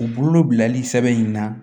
U bolo bilali sɛbɛn in na